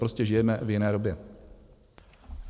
Prostě žijeme v jiné době.